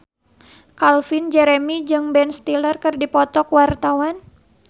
Calvin Jeremy jeung Ben Stiller keur dipoto ku wartawan